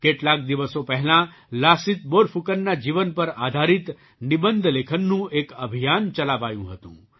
કેટલાક દિવસો પહેલાં લાસિત બોરફૂકનના જીવન પર આધારિત નિબંધ લેખનનું એક અભિયાન ચલાવાયું હતું